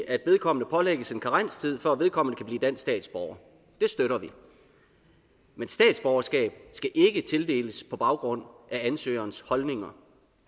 at vedkommende pålægges en karenstid for at vedkommende kan blive dansk statsborger det støtter vi men statsborgerskab skal ikke tildeles på baggrund af ansøgerens holdninger